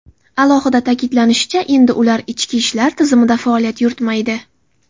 Alohida ta’kidlanishicha, endi ular ichki ishlar tizimida faoliyat yuritmaydi.